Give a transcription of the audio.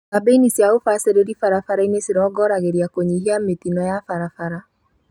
Kambĩini cia ũbacĩrĩri barabara-inĩ cirongoragĩria kũnyihia mĩtino ya barabara